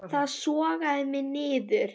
Það sogaði mig niður.